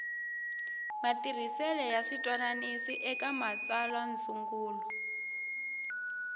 matirhisele ya switwananisi eka matsalwandzungulo